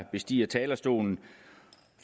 bestiger talerstolen